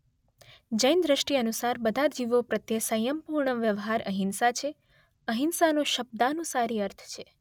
જૈન દૃષ્ટિ અનુસાર બધા જીવો પ્રત્યે સંયમપૂર્ણ વ્યવહાર અહિંસા છે.અહિંસાનો શબ્દાનુસારી અર્થ છે